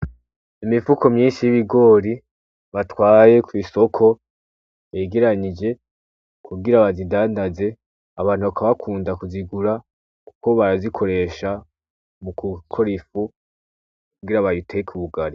Imifuko myinshi y'ibigori batwaye ku isoko begeranyije kugira bazidandaze abantu bakaba bakunda kuzigura kuko barazikoresha mu gukora ifu kugira bayiteke ubugali.